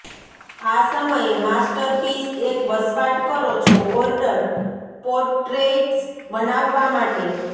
આ સમયે માસ્ટરપીસ એક વસવાટ કરો છો ઓર્ડર પોટ્રેઇટ્સ બનાવવા માટે